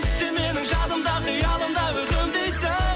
сен менің жадымда қиялымда өкінбейсің